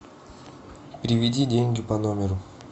переведи деньги по номеру